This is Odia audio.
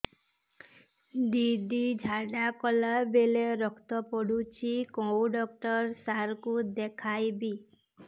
ଦିଦି ଝାଡ଼ା କଲା ବେଳେ ରକ୍ତ ପଡୁଛି କଉଁ ଡକ୍ଟର ସାର କୁ ଦଖାଇବି